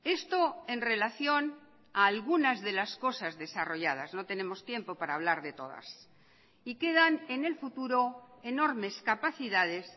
esto en relación a algunas de las cosas desarrolladas no tenemos tiempo para hablar de todas y quedan en el futuro enormes capacidades